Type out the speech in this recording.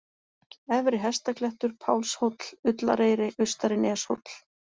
Efri-Hestaklettur, Pálshóll, Ullareyri, Austari-Neshóll